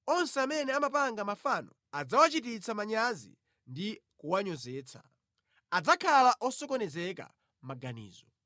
Onse amene amapanga mafano adzawachititsa manyazi ndi kuwanyozetsa. Adzakhala osokonezeka maganizo.